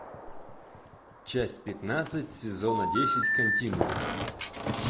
часть пятнадцать сезона десять континуум